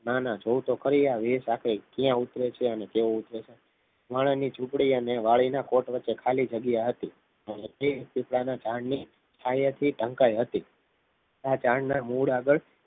નાના જો તો ખરી આ વેશ આખરે ક્યાં ઉતરે છે અને કેમ ઉતરે છે માણસની ઝૂંપડી અને વાળીના કોર્ટ વચ્ચે ખાલી જગ્યા હતી અને તે સીજડાના ઝાડની છાયા થી ઢંકાઈ હતી આ ઝાડના મૂળ આગળ